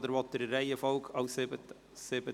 Oder spricht er in der Reihenfolge an siebter Stelle?